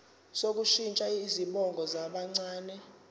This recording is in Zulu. sokushintsha izibongo zabancane